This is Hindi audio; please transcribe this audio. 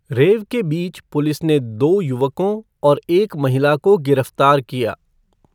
रेव के बीच पुलिस ने दो युवकों और एक महिला को गिरफ्तार किया।